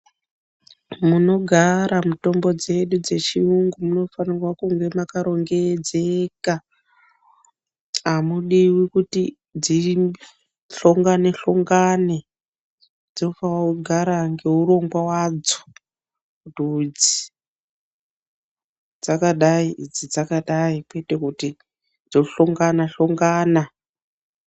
Munogara mutombo dzedu dzechiyungu munofanirwa kunge makarongedzeka, Hamudiwi kuti dzihlongane-hlongane dzoofana kugara ngeurongwa wadzo kuti idzi dzakadai idzi dzakadai kwete kuti dzohlongana-hlongana.